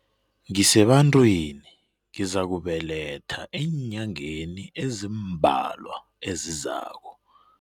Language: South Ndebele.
Ngisebantwini ngizakubeletha eenyangeni ezimbalwa ezizako.